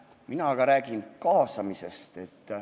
Mina aga räägin kaasamisest.